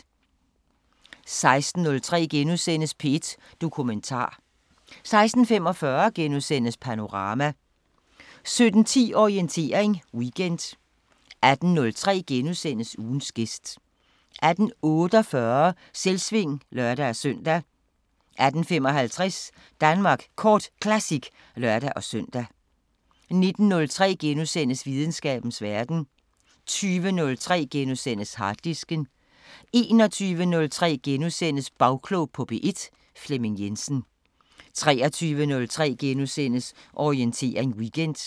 16:03: P1 Dokumentar * 16:45: Panorama * 17:10: Orientering Weekend 18:03: Ugens gæst * 18:48: Selvsving (lør-søn) 18:55: Danmark Kort Classic (lør-søn) 19:03: Videnskabens Verden * 20:03: Harddisken * 21:03: Bagklog på P1: Flemming Jensen * 23:03: Orientering Weekend *